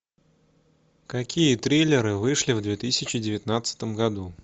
какие триллеры вышли в две тысячи девятнадцатом году